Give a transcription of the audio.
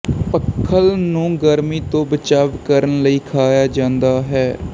ਪਖਲ ਨੂੰ ਗਰਮੀ ਤੋਂ ਬਚਾਵ ਕਰਣ ਲਈ ਖਾਇਆ ਜਾਂਦਾ ਹੈ